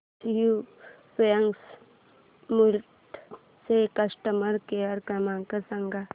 SU pumps Mulund चा customer care क्रमांक सांगा